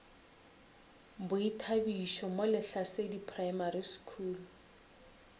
boithabišo mo lehlasedi primary school